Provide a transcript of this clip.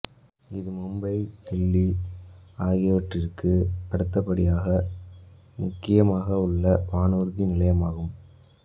இது மும்பை தில்லி ஆகியவற்றுக்கு அடுத்தபடியாக முக்கியமாக உள்ள வானூர்தி நிலையமாகும்